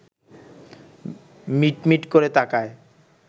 মিটমিট করে তাকায়